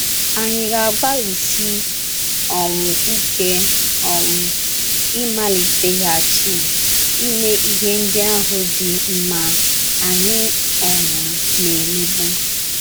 Ànyị ga - agbalịsi um ike um ịmaliteghachi ime ihe ndị ahụ dị mma anyị um na - emebu?